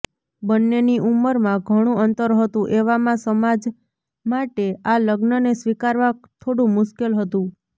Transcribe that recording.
બંન્નેની ઉંમરમાં ઘણું અંતર હતું એવામાં સમાજ માટે આ લગ્નને સ્વીકારવા થોડું મુશ્કેલ હતું